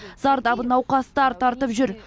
зардабын науқастар тартып жүр